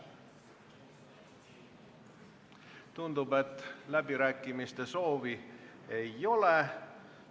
Tundub, et läbirääkimiste soovi ei ole.